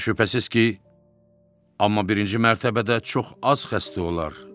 Və şübhəsiz ki, amma birinci mərtəbədə çox az xəstə olar.